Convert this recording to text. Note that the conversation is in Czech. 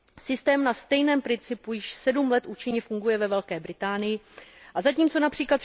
Systém na stejném principu již sedm let účinně funguje ve Velké Británii a zatímco např.